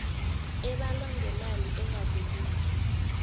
ebalwa ngemali engadluliko